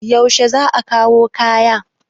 yaushe za a kawo kaya?